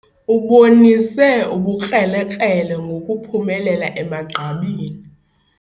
Ubonise ubukrelekrele ngokuphumelela emagqabini.